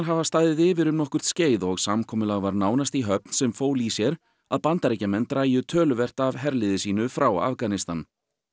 hafa staðið yfir um nokkurt skeið og samkomulag var nánast í höfn sem fól í sér að Bandaríkjamenn drægju töluvert af herliði sínu frá Afganistan